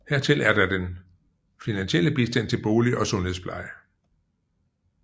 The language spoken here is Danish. Hertil er der den finansielle bistand til bolig og sundhedspleje